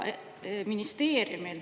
Ministeeriumil …